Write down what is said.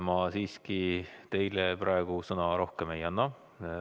Ma siiski teile praegu rohkem sõna ei anna.